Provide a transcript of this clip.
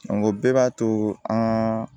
o bɛɛ b'a to an